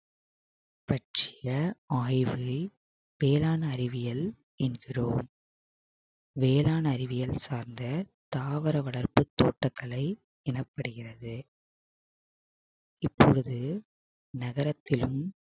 பற்றிய ஆய்வில் பேரான அறிவியல் என்கிறோம் வேரான அறிவியல் சார்ந்த தாவர வளர்ப்பு தோட்டக்கலை எனப்படுகிறது இப்பொழுது நகரத்திலும்